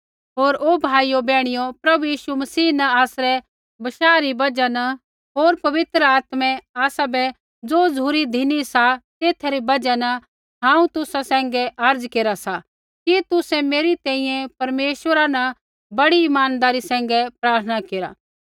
होर ओ भाइयो बैहणियो प्रभु यीशु मसीह न आसरै बशाह री बजहा न होर पवित्र आत्मै आसाबै ज़ो झ़ुरी धिनी सा तेथा री बजहा न हांऊँ तुसा सैंघै अर्ज़ा केरा सा कि तुसै मेरी तैंईंयैं परमेश्वरा न बड़ी इमानदारी सैंघै प्रार्थना केरा